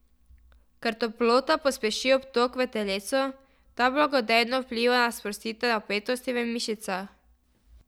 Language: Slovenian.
Ker toplota pospeši obtok v telesu, ta blagodejno vpliva na sprostitev napetosti v mišicah.